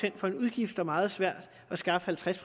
ind for en udgift og meget svært at skaffe halvtreds